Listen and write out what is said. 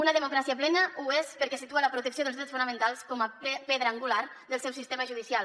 una democràcia plena ho és perquè situa la protecció dels drets fonamentals com a pedra angular del seu sistema judicial